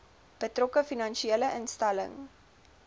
betrokke finansiële instelling